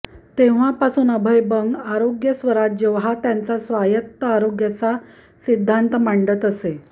तेव्हापासून अभय बंग आरोग्यस्वराज हा त्यांचा स्वायत्त आरोग्याचा सिद्धांत माडंत असतात